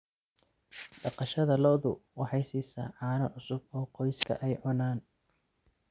Dhaqashada lo'du waxay siisaa caano cusub oo qoyska ay cunaan.